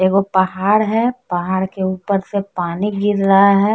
ये वो पहाड़ है पहाड़ के ऊपर से पानी गिर रहा है।